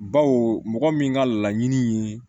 Baw mɔgɔ min ka laɲini ye